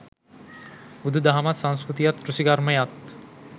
බුදු දහමත්, සංස්කෘතියත්, කෘෂිකර්මයත්